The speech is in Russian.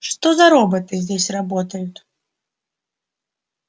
что за роботы здесь работают